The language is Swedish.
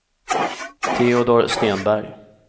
Teodor Stenberg